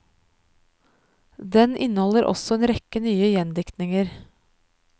Den inneholder også en rekke nye gjendiktninger.